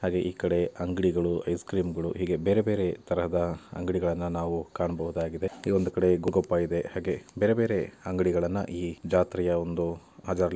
ಹಾಗೆ ಈ ಕಡೆ ಅಂಗಡಿಗಳು ಐಸ್ ಕ್ರೀಮ್ ಗಳು ಹೀಗೆ ಬೇರೆ ಬೇರೆ ತರದ ಅಂಗಡಿಗಳನ್ನ ನಾವು ಕಾಣಬಹುದಾಗಿದೆ. ಈ ಒಂದು ಕಡೆ ಗೋಲ್ಗಪ್ಪಾ ಹಾಗೆ ಬೇರೆ ಬೇರೆ ಅಂಗಡಿಗಳನ್ನ ಈ ಜಾತ್ರೆಯ ಒಂದು--